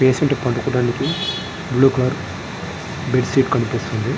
Patient పాడుకోడానికి blue colour bed sheet కనిపిస్తూ వుంది.